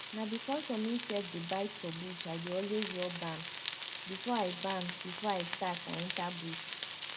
na because some insect dey bite for bush i dey always rub balm before i balm before i start i enter bush